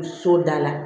So da la